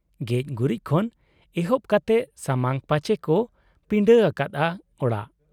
ᱜᱮᱡ ᱜᱩᱨᱤᱡ ᱠᱷᱚᱱ ᱮᱦᱚᱵ ᱠᱟᱛᱮ ᱥᱟᱢᱟᱝ ᱯᱟᱪᱮ ᱠᱚ ᱯᱤᱸᱰᱟᱹ ᱟᱠᱟᱫ ᱟ ᱚᱲᱟᱜ ᱾